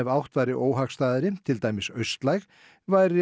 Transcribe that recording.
áttin væri óhagstæð til dæmis austlæg væri